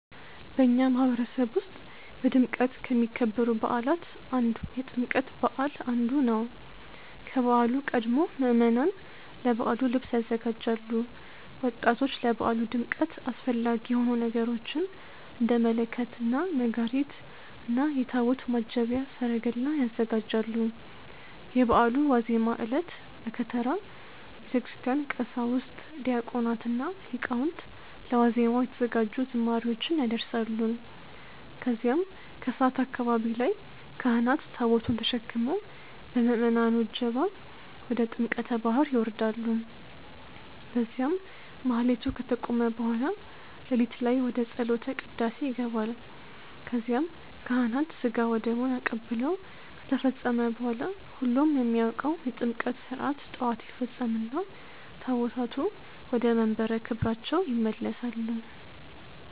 በእኛ ማህበረሰብ ውስጥ በድምቀት አሚከበሩ በዓላት አንዱ የጥምቀት በዓል አንዱ ነው። ከበዓሉ ቀድሞ ምዕመናን ለበዓሉ ልብስ ያዘጋጃሉ፣ ወጣቶች ለበዓሉ ድምቀት አስፈላጊ የሆኑ ነገሮችን እንደ መለከት እና ነጋሪት እና የታቦት ማጀብያ ሰረገላ ያዘጋጃሉ። የበዓሉ ዋዜማ ዕለት(በከተራ) በቤተክርስቲያን ቀሳውስት፣ ዲያቆናት እና ሊቃውንት ለ ዋዜማው የተዘጋጁ ዝማሬዎችን ያደርሳሉ። ከዚያም ከሰዓት አካባቢ ላይ ካህናት ታቦቱን ተሸክመው በምዕመናኑ እጀባ ወደ ጥምቀተ ባህር ይወርዳሉ። በዚያም ማህሌቱ ከተቆመ በኃላ ለሊት ላይ ወደ ጸሎተ ቅዳሴ ይገባል ከዚያም ካህናት ስጋ ወደሙን አቀብለው ከተፈጸመ በኃላ ሁሉም የሚያውቀው የጥምቀት ስርዓት ጠዋት ይፈጸምና ታቦታቱ ወደመንበረ ክብራቸው ይመለሳሉ።